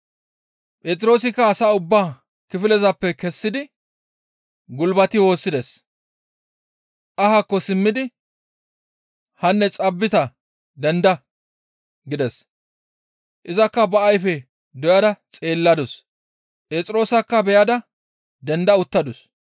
Phexroosikka ubba asaa kifilezappe kessidi gulbati woossides. Ahaakko simmidi, «Hanne Xaabita denda!» gides. Izakka ba ayfe doyada xeelladus; Phexroosakka beyada denda uttadus.